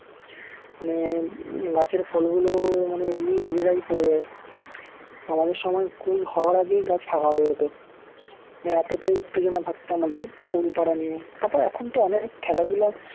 মানে গাছের ফল গুলোও মানে এমনি নিজেরাই পড়ে যায় আমাদের সময় কুল হওয়ার আগেই গাছ ফাঁকা হয়ে যেত। মানে এতটাই উত্তেজনা থাকতো আমাদের কুল পাড়া নিয়ে। তারপর এখন তো অনেক খেলাধুলা